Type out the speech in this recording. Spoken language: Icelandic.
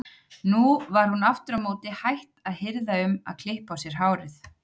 Nú var hún aftur á móti hætt að hirða um að klippa á sér hárið.